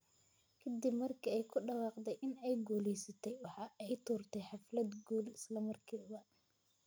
Kadib markii ay ku dhawaaqday in ay guulaysatay, waxa ay tuurtay xaflad guul isla markiiba.